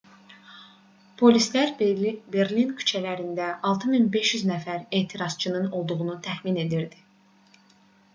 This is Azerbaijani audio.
polislər berlin küçələrində 6500 nəfər etirazçının olduğunu təxmin edirdi